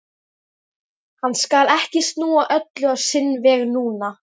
Hann skal ekki snúa öllu á sinn veg núna.